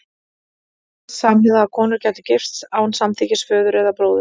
Gerðist samhliða að konur gætu gifst án samþykkis föður eða bróður?